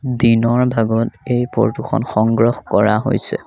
দিনৰ ভাগত এই ফটো খন সংগ্ৰহ কৰা হৈছে।